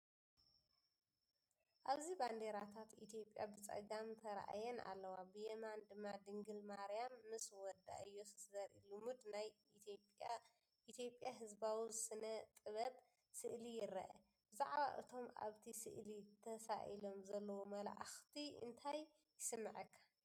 ኣብዚ ባንዴራታት ኢትዮጵያ ብጸጋም ተራእየን ኣለዋ። ብየማን ድማ ድንግል ማርያም ምስ ወዳ ኢየሱስ ዘርኢ ልሙድ ናይ ኢትዮጵያ ህዝባዊ ስነ ጥበብ ስእሊ ይርአ። ብዛዕባ እቶም ኣብቲ ስእሊ ተሳኢሎም ዘለዉ መላእኽቲ እንታይ ይስምዓካ?